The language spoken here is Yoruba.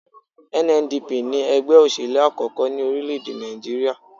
NNDP ní ẹgbẹ́ òṣèlú àkọ́kọ́ ní orílẹ̀-èdè Nàìjíríyà